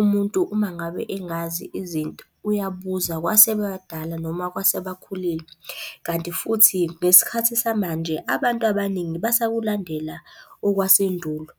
Umuntu uma ngabe engazi izinto, uyabuza kwasebadala noma kwasebakhulile. Kanti futhi ngesikhathi samanje abantu abaningi basakulandela okwasendulo.